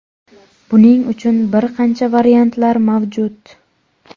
Buning uchun bir qancha variantlar mavjud.